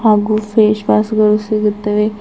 ಹಾಗೂ face wash ಗಳು ಸಿಗುತ್ತವೆ.